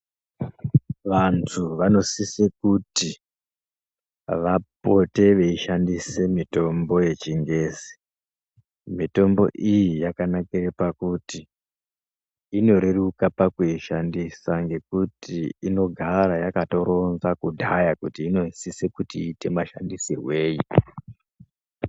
Vantu vanosise kuti, vapote veishandise mitombo yechingezi. Mitombo iyi yakanakire pakuti, inoreruka pakuishandisa ngekuti, inogara yakatoronza kudhaya kuti inosise kuti iite mashandisirwei.